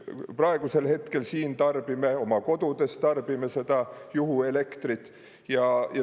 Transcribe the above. Praegusel hetkel siin tarbime, oma kodudes tarbime seda juhuelektrit.